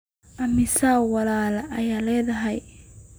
Immisa walaal ayaad leedahay?